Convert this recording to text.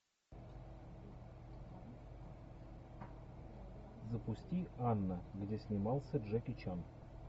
запусти анна где снимался джеки чан